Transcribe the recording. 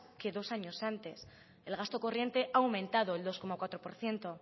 que dos años antes el gasto corriente ha aumentado el dos coma cuatro por ciento